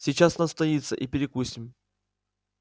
сейчас настоится и перекусим